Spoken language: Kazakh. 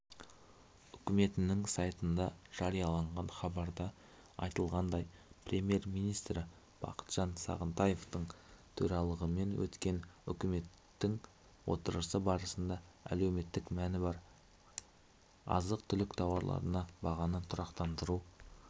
үкіметінің сайтында жарияланған хабарда айтылғандай премьер-министрі бақытжан сағынтаевтың төрағалығымен өткен үкімет отырысы барысында әлеуметтік мәні бар азық-түлік тауарларына бағаны тұрақтандыру